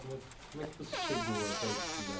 Como é, como é que você chegou até esse lugar?